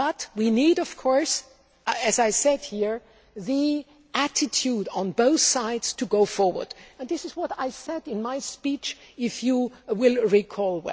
We do need, as I said here, the attitude on both sides to go forward, which is what I said in my speech if you will recall.